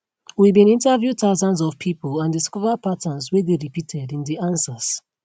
we bin interview thousands of pipo and discover patterns wey dey repeated in di answers